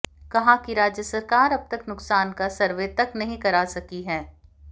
कहा कि राज्य सरकार अब तक नुकसान का सर्वे तक नहीं करा सकी है